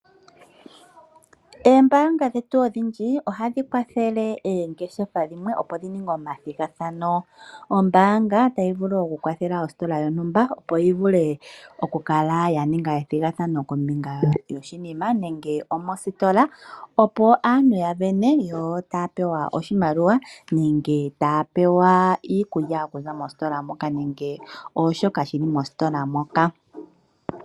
Oombaanga dhetu odhindji ohadhi kwathele oongeshefa dhimwe, opo dhi ninge omathigathano. Ombaanga tayi vulu okukwathela ositola yontumba, opo yi vule okukala ya ninga ethigathano kombinga yoshinima nenge omositola, opo aantu ya sindane yo taya pewa oshimaliwa nenge taya pewa iikulya okuza mositola moka nenge shoka shi li mositola moka.